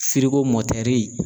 Firigo mɔtɛri.